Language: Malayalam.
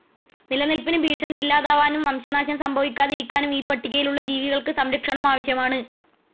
നിലനിൽപ്പിനു ഭീഷണി ഇല്ലാതാവാനും വംശനാശം സംഭവിക്കാതിരിക്കാനും ഈ പട്ടികയിൽ ഉള്ള ജീവികൾക്ക് സംരക്ഷണം ആവശ്യമാണ്.